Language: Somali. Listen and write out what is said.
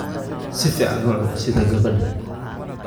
Si fiican u cun sida gabadha